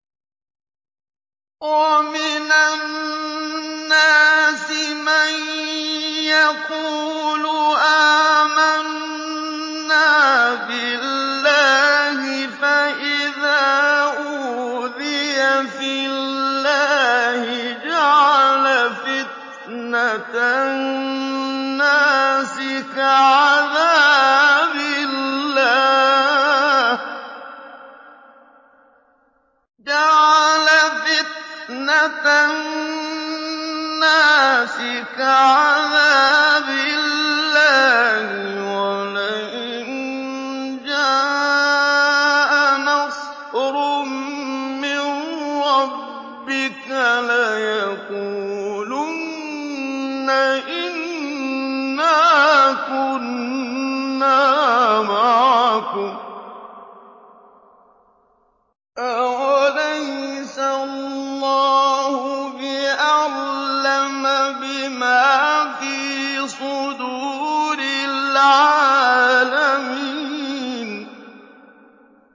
وَمِنَ النَّاسِ مَن يَقُولُ آمَنَّا بِاللَّهِ فَإِذَا أُوذِيَ فِي اللَّهِ جَعَلَ فِتْنَةَ النَّاسِ كَعَذَابِ اللَّهِ وَلَئِن جَاءَ نَصْرٌ مِّن رَّبِّكَ لَيَقُولُنَّ إِنَّا كُنَّا مَعَكُمْ ۚ أَوَلَيْسَ اللَّهُ بِأَعْلَمَ بِمَا فِي صُدُورِ الْعَالَمِينَ